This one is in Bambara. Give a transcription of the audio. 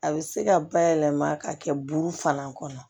A bɛ se ka bayɛlɛma ka kɛ buru fana kɔnɔ